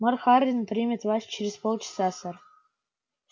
мэр хардин примет вас через полчаса сэр